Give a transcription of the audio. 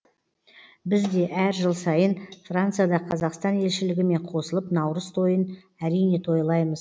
біз де әр жыл сайын францияда қазақстан елшілігімен қосылып наурыз тойын әрине тойлаймыз